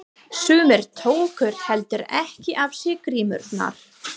Sumir tóku heldur ekki af sér grímurnar.